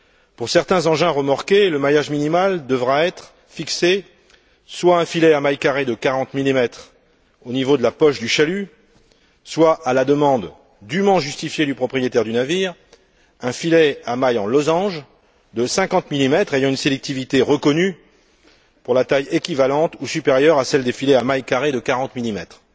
Pour certains engins remorqués, le maillage minimal devra être fixé soit un filet à mailles carrées de 40 millimètres au niveau de la poche du chalut, soit, à la demande dûment justifiée du propriétaire du navire, un filet à mailles en losange de 50 millimètres, ayant une sélectivité reconnue pour la taille équivalente ou supérieure à celle des filets à mailles carrées de 40 millimètres.